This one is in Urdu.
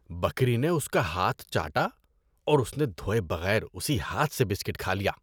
بکری نے اس کا ہاتھ چاٹا، اور اس نے دھوئے بغیر اسی ہاتھ سے بسکٹ کھا لیا۔